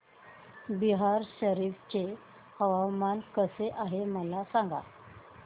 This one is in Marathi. बिहार शरीफ चे हवामान कसे आहे मला सांगा